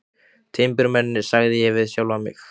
Timburmennirnir, sagði ég við sjálfan mig.